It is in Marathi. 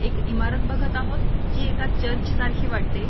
एक इमारत बघत आहोत जी एका चर्च सारखी वाटते.